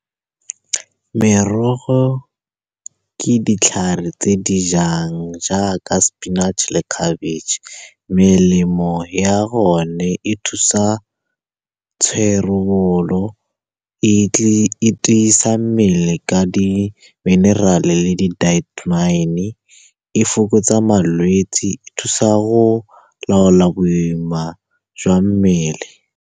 Merogo ke ditlhare tse di jang jaaka sepinatšhe, khabetšhe. Melemo ya gone e thusa tsherebolo, e tisa mmele ka di mineral-a le di , e fokotsa malwetsi, e thusa go laola boima jwa mmele.